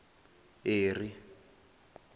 eri